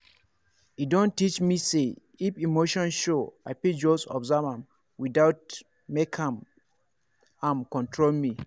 e don teach me say if emotion show i fit just observe am without make am am control me.